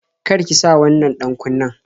Kar ki sa wannan ɗan-kunnen